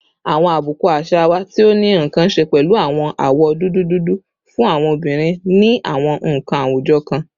Awọn abuku aṣa wa ti o ni nkan ṣe pẹlu awọn awọ dudu dudu fun awọn obinrin ni awọn awujọ kan